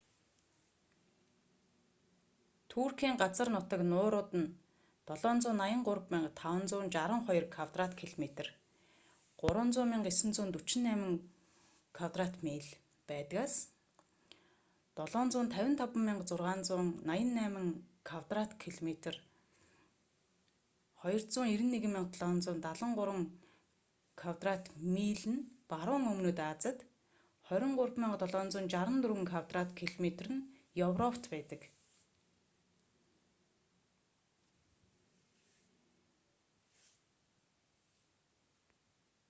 туркийн газар нутаг нуурууд нь 783,562 квадрат километр 300,948 кв миль байдгаас 755,688 квадрат километр 291,773 кв миль нь баруун өмнөд азид 23,764 квадрат километр 9,174 кв миль нь европт байдаг